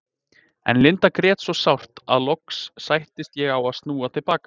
En Linda grét svo sárt að loks sættist ég á að snúa til baka.